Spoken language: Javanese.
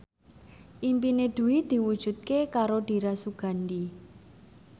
impine Dwi diwujudke karo Dira Sugandi